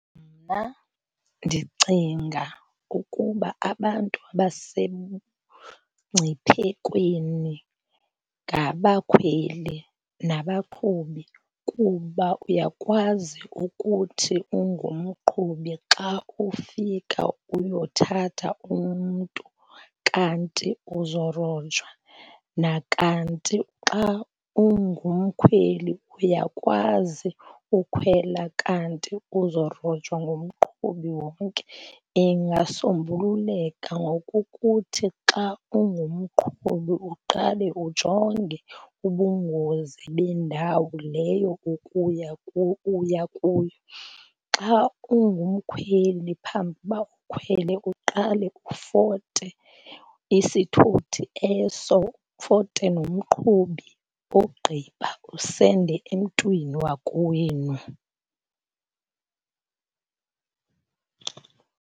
Mna ndicinga ukuba abantu abasengciphekweni ngabakhweli nabaqhubi kuba uyakwazi ukuthi ungumqhubi xa ufika uyothatha umntu kanti uzorojwa, nakanti xa ungumkhweli uyakwazi ukhwela kanti uzorojwa ngumqhubi wonke. Ingasombululeka ngokukuthi xa ungumqhubi uqale ujonge ubungozi bendawo leyo uya kuyo. Xa ungumkhweli phambi uba ukhwele uqale ufote isithuthi eso, ufote nomqhubi ogqiba usende emntwini wakowenu.